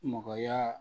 Mɔgɔya